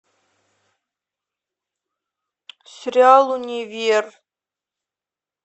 сериал универ